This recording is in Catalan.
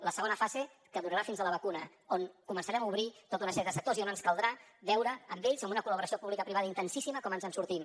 la segona fase que durarà fins a la vacuna on començarem a obrir tota una sèrie de sectors i on ens caldrà veure amb ells amb una col·laboració publicoprivada intensíssima com ens en sortim